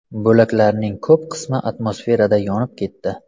Bo‘laklarning ko‘p qismi atmosferada yonib ketdi.